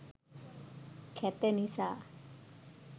කැත නිසා